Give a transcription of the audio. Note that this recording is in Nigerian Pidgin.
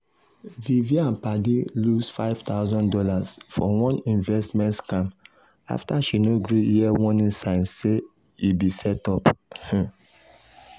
vivian padi lose five thousand dollars for one investment scam after she no gree hear warning signs say e be setup. um